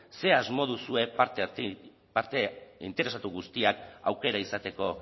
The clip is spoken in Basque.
ze asmo duzue parte interesatu guztiak aukera izateko